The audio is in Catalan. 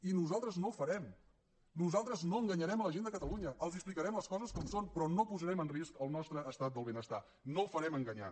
i nosaltres no ho farem nosaltres no enganyarem la gent de catalunya els explicarem les coses com són però no posarem en risc el nostre estat del benestar no ho farem enganyant